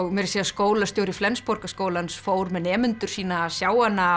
meira að segja skólastjóri Flensborgarskólans fór með nemendur sína að sjá hana